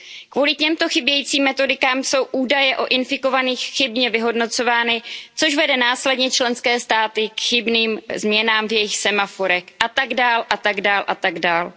Kvůli těmto chybějícím metodikám jsou údaje o infikovaných chybně vyhodnocovány, což vede následně členské státy k chybným změnám v jejich semaforech a tak dále a tak dále a tak dále.